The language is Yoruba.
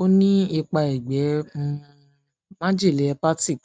ó ní ipa ẹgbẹ um májèlé hepatic